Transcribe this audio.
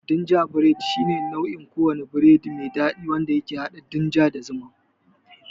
Gingerbread shine kowane nau'in biredi mai dadi wanda ke hada ginger da zuma.